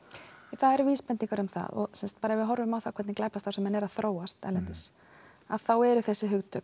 það eru vísbendingar um það og ef við horfum á hvernig glæpastarfsemi er að þróast erlendis þá er þessi hugtök